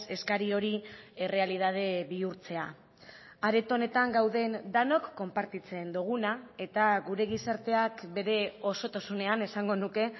eskari hori errealitate bihurtzea areto honetan gauden denok konpartitzen duguna eta gure gizarteak bere osotasunean esango nuke